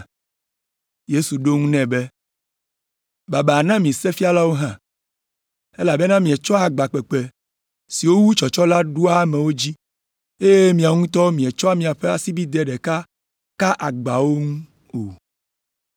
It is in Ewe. Yesu ɖo eŋu nɛ be, “Babaa na mi sefialawo hã. Elabena mietsɔa agba kpekpe, siwo wu tsɔtsɔ la ɖoa amewo dzi, eye miawo ŋutɔ mietsɔa miaƒe asibidɛ ɖeka kaa agbawo ŋu o.